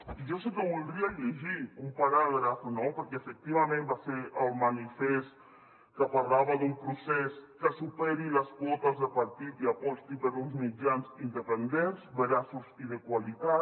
i jo sí que en voldria llegir un paràgraf no perquè efectivament va ser el manifest que parlava d’un procés que superi les quotes de partit i aposti per uns mitjans independents veraços i de qualitat